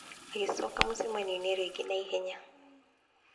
Agĩcoka mũcamanio-inĩ rĩngĩ na ihenya.